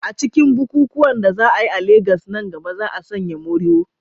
A cikin bukukuwan da za a yi a Legas nan gaba, za a sanya morìwò.